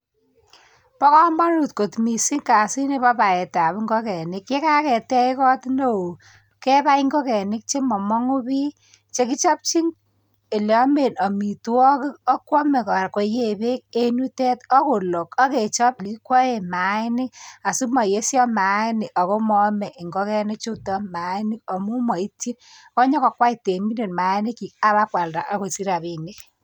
Ba kamanut kot mising kasit Nebo baet ab ingokenik yekaketech kot neon kebae ingokenik chemangunen bie chekichapchon oleyame amitwagik akwame koyee bek en yutet akechobe mayainik asimayeisho mainik ako mayame ingokenik chuton mainik amun maityin akonyo kokwei temindet mayainik chik akonyo kwalda akosich rabinik